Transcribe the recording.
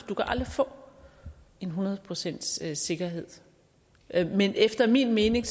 du kan aldrig få en hundrede procents sikkerhed men efter min mening